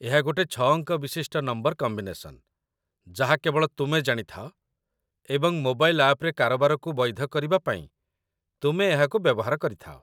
ଏହା ଗୋଟେ ୬-ଅଙ୍କ ବିଶିଷ୍ଟ ନମ୍ବର କମ୍ବିନେସନ୍‌, ଯାହା କେବଳ ତୁମେ ଜାଣିଥାଅ, ଏବଂ ମୋବାଇଲ୍‌ ଆପ୍‌ରେ କାରବାରକୁ ବୈଧ କରିବା ପାଇଁ ତୁମେ ଏହାକୁ ବ୍ୟବହାର କରିଥାଅ |